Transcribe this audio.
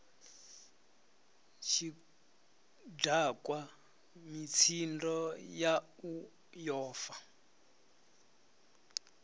tshidakwa mitsindo yau yo fa